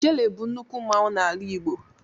Ijele bụ nnukwu mmanwụ n'ala igbo